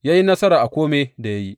Ya yi nasara a kome da ya yi.